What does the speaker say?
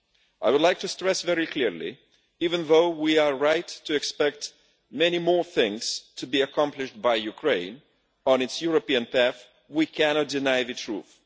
I would like to stress very clearly that, even though we are right to expect many more things to be accomplished by Ukraine on its European path, we cannot deny the truth.